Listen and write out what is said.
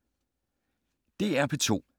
DR P2